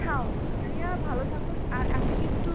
খাও খাইয়া ভালো থাকো আর আজকে একটু